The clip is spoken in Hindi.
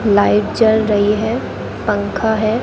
लाइट जल रही है पंखा है।